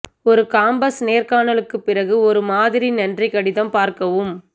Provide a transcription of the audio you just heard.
ஒரு காம்பஸ் நேர்காணலுக்குப் பிறகு ஒரு மாதிரி நன்றி கடிதம் பார்க்கவும்